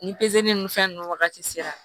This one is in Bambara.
Ni ni fɛn ninnu wagati sera